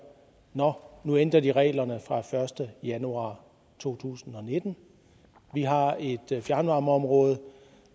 nå nu ændrer de reglerne fra den første januar to tusind og nitten vi har et fjernvarmeområde